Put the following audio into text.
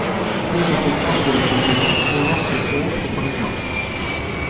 De som fikk antidepressiva ble raskest kurert for panikkangsten.